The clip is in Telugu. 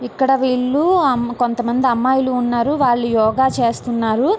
ఇక్కడ వీళ్లు కొంత మంది అమ్మాయిలు ఉన్నారు వాళ్ళు యోగ చేస్తున్నారు .